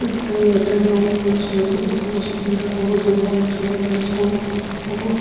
ಚೆನ್ನಾಗಿ ಉಪೋಯೋಗಿಸಬೇಕು ಉಪಯೋಗಿಸಿದ್ ನಂತರ ಅವ್ರು ಚೆನ್ನಾಗಿ ಜೇವನವನ್ನು ನಡೆಸಬೊಹುದ್ ನಾವು--